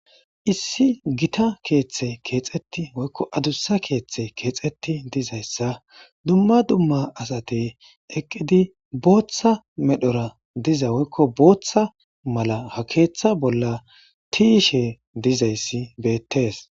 Issi gitta kethayi issi adusa kethayi kexeti wurisi duma duma assayi eqidi botha malara diza woyi botha qalame ha ketha bolla tiyishe dizayisi betesi